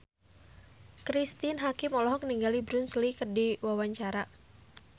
Cristine Hakim olohok ningali Bruce Lee keur diwawancara